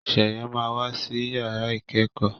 Sheye má wá sí yàrá ikẹkọ